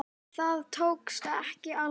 Það tókst ekki alveg.